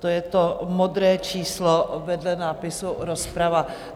To je to modré číslo vedle nápisu Rozprava.